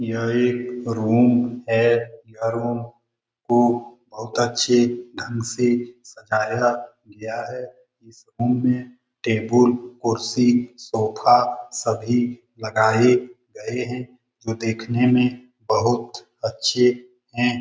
यह एक रूम है। यह रूम को बहुत अच्छे ढंग से सजाया गया है। इस रूम में टेबुल कुर्सी सोफा सभी लगाए गए हैं। जो देखने में बहुत अच्छे है।